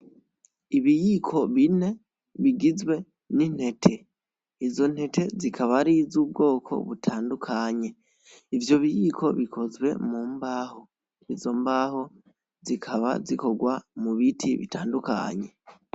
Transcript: Ibiyiko bine bigizwe n'intete izo ntete zikaba ari izubwoko butandukanye ivyo biyiko bikozwe mu mbaho izo mbaho zikaba zikorwa mu biti bitandukanye.